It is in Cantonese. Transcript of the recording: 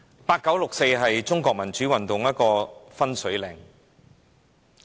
八九六四是中國民主運動的分水嶺。